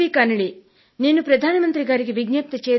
నేను ప్రధాన మంత్రి గారికి విజ్ఞప్తి చేయదలిచాను